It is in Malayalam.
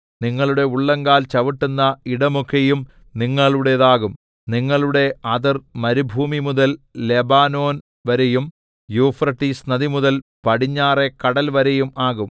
നിങ്ങളുടെ ഉള്ളങ്കാൽ ചവിട്ടുന്ന ഇടമൊക്കെയും നിങ്ങളുടേതാകും നിങ്ങളുടെ അതിർ മരുഭൂമിമുതൽ ലെബാനോൻ വരെയും യൂഫ്രട്ടീസ് നദിമുതൽ പടിഞ്ഞാറെ കടൽ വരെയും ആകും